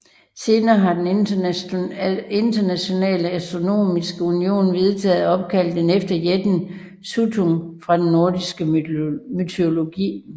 Senere har den Internationale Astronomiske Union vedtaget at opkalde den efter jætten Suttung fra den nordiske mytologi